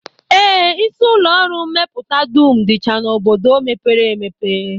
Ee, isi ụlọọrụ mmepụta dum dịcha n'obodo mepere emepe